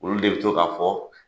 Olu de bɛ to ka fɔ